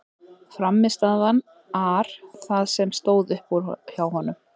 Frammistaðan ar það sem stóð upp úr hjá honum.